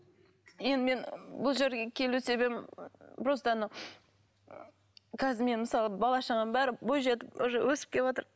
енді мен бұл жерге келу себебім просто анау қазір мен мысалы бала шағам бәрі бой жетіп уже өсіп кеватыр